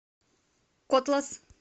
котлас